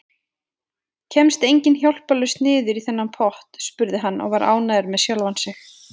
Kemst enginn hjálparlaust niður í þennan pott? spurði hann og var ánægður með sjálfan sig.